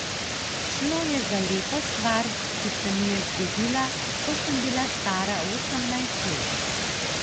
Šlo je za lepo stvar, ki se mi je zgodila, ko sem bila stara osemnajst let.